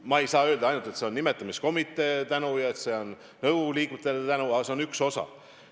Ma ei saa öelda, et see on ainult tänu nimetamiskomiteele ja nõukogu liikmetele, aga see on seal üks osi.